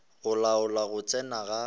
go laola go tsena ga